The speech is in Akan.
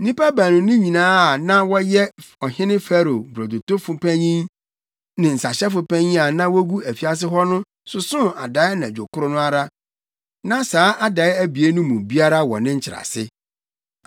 nnipa baanu no nyinaa a na wɔyɛ ɔhene Farao brodotofo panyin ne nsahyɛfo panyin a na wogu afiase hɔ no sosoo adae anadwo koro no ara. Na saa adae abien no mu biara wɔ ne nkyerɛase.